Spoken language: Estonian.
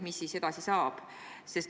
Mis siis edasi saab?